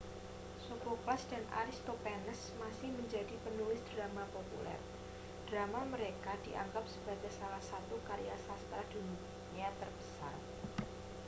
sophocles dan aristophanes masih menjadi penulis drama populer drama mereka dianggap sebagai salah satu karya sastra dunia terbesar